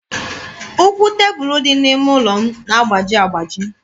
Ụkwụ tebụlụ dị n'ime ụlọ m na-agbaji agbaji.